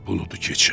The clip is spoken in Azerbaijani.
Buludu keçər.